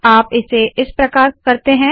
आप इसे इस प्रकार करते है